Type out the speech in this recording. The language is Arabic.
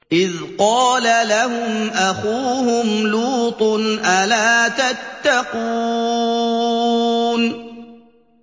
إِذْ قَالَ لَهُمْ أَخُوهُمْ لُوطٌ أَلَا تَتَّقُونَ